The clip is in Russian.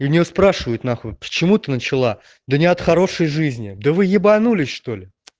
и у неё спрашивают нахуй почему ты начала да не от хорошей жизни да вы ебанулись что ли